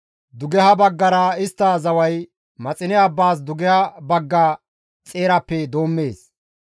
Dugeha baggara istta zaway Maxine abbaas dugeha bagga xeerappe doommees.